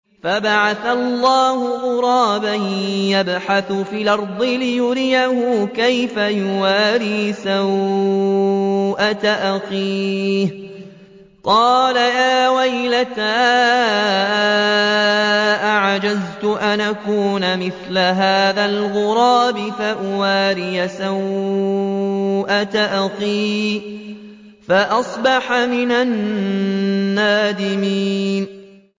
فَبَعَثَ اللَّهُ غُرَابًا يَبْحَثُ فِي الْأَرْضِ لِيُرِيَهُ كَيْفَ يُوَارِي سَوْءَةَ أَخِيهِ ۚ قَالَ يَا وَيْلَتَا أَعَجَزْتُ أَنْ أَكُونَ مِثْلَ هَٰذَا الْغُرَابِ فَأُوَارِيَ سَوْءَةَ أَخِي ۖ فَأَصْبَحَ مِنَ النَّادِمِينَ